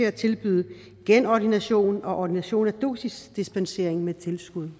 at tilbyde genordination og ordination af dosisdispensering med tilskud